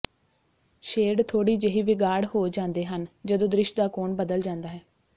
shade ਥੋੜ੍ਹੀ ਜਿਹੀ ਵਿਗਾੜ ਹੋ ਜਾਂਦੇ ਹਨ ਜਦੋਂ ਦ੍ਰਿਸ਼ ਦਾ ਕੋਣ ਬਦਲ ਜਾਂਦਾ ਹੈ